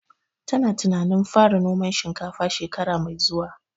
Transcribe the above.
Ta na tunanin fara noman shinkafa shekara mai zuwa